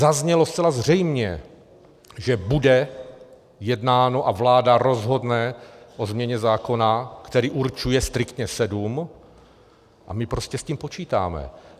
Zaznělo zcela zřejmě, že bude jednáno a vláda rozhodne o změně zákona, který určuje striktně sedm, a my prostě s tím počítáme.